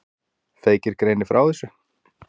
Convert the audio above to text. Feykir greinir frá þessu.